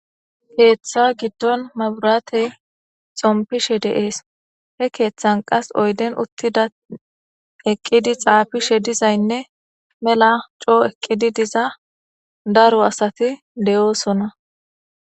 keeththa giddon maburatey xompishe de7ees he keeththan qas oyden uttida eqqidi xaafishe dizaynne mela coo eqqidi diza daro asati de7oosona